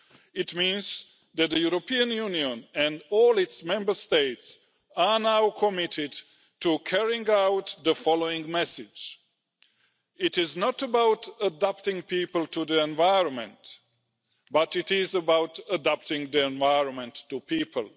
It means that the European Union and all its Member States are now committed to carrying out the following message it is not about adapting people to the environment, but it is about adapting the environment to people.